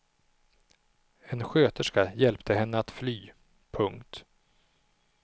En sköterska hjälpte henne att fly. punkt